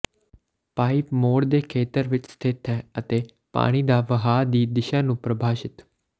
pipe ਮੋੜ ਦੇ ਖੇਤਰ ਵਿਚ ਸਥਿਤ ਹੈ ਅਤੇ ਪਾਣੀ ਦਾ ਵਹਾਅ ਦੀ ਦਿਸ਼ਾ ਨੂੰ ਪ੍ਰਭਾਸ਼ਿਤ